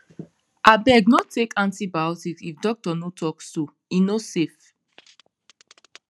abeg no take antibiotics if doctor no talk so e no safe